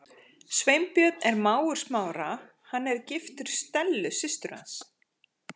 Sveinbjörn er mágur Smára, hann er giftur Stellu systur hans.